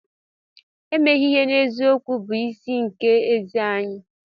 Emeghị ihe n'eziokwu bụ nsị nke ezi enyi.